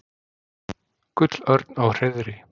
Gullörn á hreiðri.